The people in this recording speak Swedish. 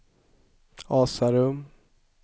Asarum